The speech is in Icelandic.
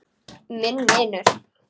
Minn vinur.